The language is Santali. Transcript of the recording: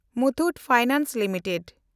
Muthoot finance limited